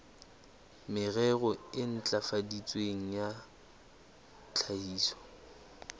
merero e ntlafaditsweng ya tlhahiso